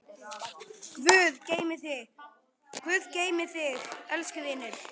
Guð geymi þig, elsku vinur.